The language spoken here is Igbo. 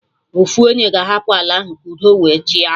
Ofu onye ga-hapụ ala ahụ ka udo wee chịa